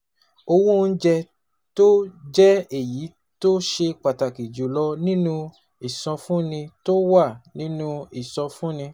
Owó oúnjẹ, tó jẹ́ èyí tó ṣe pàtàkì jù lọ nínú ìsọfúnni tó wà nínú ìsọfúnni